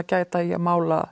gæta í að mála